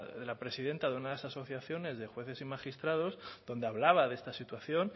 de la presidenta de una de esas asociaciones de jueces y magistrados donde hablaba de esta situación